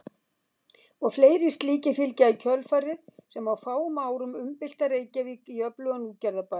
Og fleiri slíkir fylgja í kjölfarið sem á fáum árum umbylta Reykjavík í öflugan útgerðarbæ.